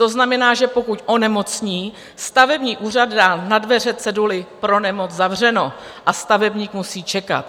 To znamená, že pokud onemocní, stavební úřad dá na dveře ceduli "pro nemoc zavřeno" a stavebník musí čekat.